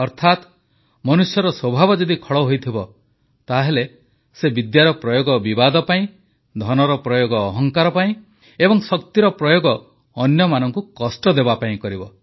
ଅର୍ଥାତ୍ ମନୁଷ୍ୟର ସ୍ୱଭାବ ଯଦି ଖଳ ହୋଇଥିବ ତାହେଲେ ସେ ବିଦ୍ୟାର ପ୍ରୟୋଗ ବିବାଦ ପାଇଁ ଧନର ପ୍ରୟୋଗ ଅହଙ୍କାର ପାଇଁ ଏବଂ ଶକ୍ତିର ପ୍ରୟୋଗ ଅନ୍ୟମାନଙ୍କୁ କଷ୍ଟ ଦେବାପାଇଁ କରିବ